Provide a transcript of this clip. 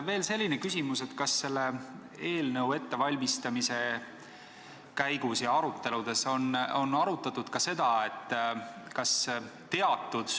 Veel selline küsimus, et kas selle eelnõu ettevalmistamise käigus ja aruteludes on arutatud ka seda, et kas teatud